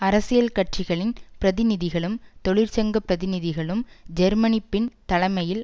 அரசியல் கட்சிகளின் பிரதிநிதிகளும் தொழிற்சங்க பிரதிநிதிகளும் ஜெர்மனிபின் தலைமையில்